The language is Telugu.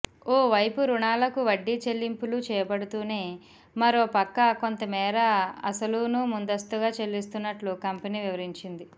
ఓవైపు రుణాలకు వడ్డీ చెల్లింపులు చేపడుతూనే మరోపక్క కొంతమేర అసలునూ ముందస్తుగా చెల్లిస్తున్నట్లు కంపెనీ వివరించింది